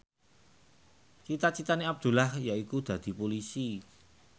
cita citane Abdullah yaiku dadi Polisi